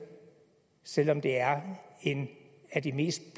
selv om det er en af de mest